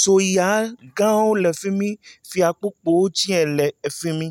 Soyaagãwo le fi mi. Fiakpukpu tsɛ le fi mi.